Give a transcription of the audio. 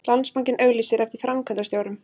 Landsbankinn auglýsir eftir framkvæmdastjórum